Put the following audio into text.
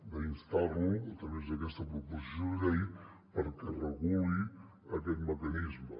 d’instar lo a través d’aquesta proposició de llei perquè reguli aquest mecanisme